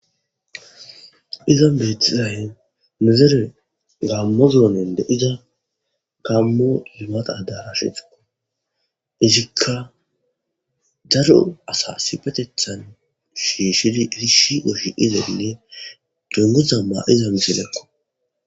Izan betizay nu dere gamo zone de'iza gamo adarasheta izika daro asa shiqotetha shishidi issiso shiqizane mayoza mayoza misileko.